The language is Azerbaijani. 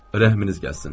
Rəhminiz gəlsin.